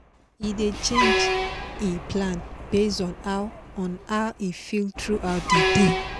e dey change e plan base on how on how e feel throughout the day